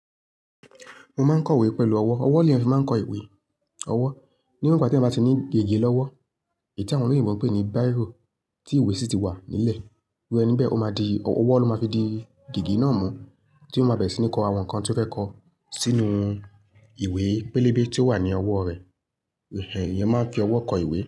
Mo máa ń kọ ìwé pẹ̀lú ọwọ́. Ọwọ́ ni a fi máa ń kọ ìwé. Ọwọ́. Ní won ìgbà tí eyán ba ti ní gègé lọ́wọ́, èyí tí àwọn oloyinbo n pe ni bíró, tí ìwé sì ti wà nílẹ̀. Wíwẹ níbẹ̀, ó má di ọwọ́ ló má fi di gègé náà mú tí ó má bẹ̀rẹ̀ sí ní kọ àwọn nǹkan tí ó fẹ́ kọ sínú ìwé pẹlẹbẹ tí ó wà ní ọwọ́ rẹ. Ẹ̀hẹ̀ ènìyàn máa ń fi ọwọ́ kọ ìwé.